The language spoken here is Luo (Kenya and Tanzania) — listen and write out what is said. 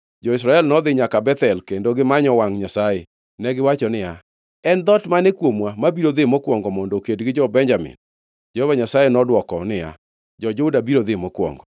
Jo-Israel nodhi nyaka Bethel kendo gimanyo wangʼ Nyasaye. Negiwacho niya, “En dhoot mane kuomwa mabiro dhi mokwongo mondo oked gi jo-Benjamin?” Jehova Nyasaye nodwoko niya, “Jo-Juda biro dhi mokwongo.”